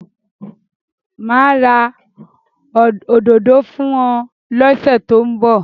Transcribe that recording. Mà á ra òdodo fún ọ lọ́sẹ̀ tó ń bọ̀.